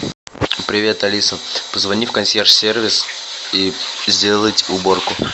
привет алиса позвони в консьерж сервис и сделать уборку